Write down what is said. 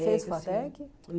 Você fez FATEC?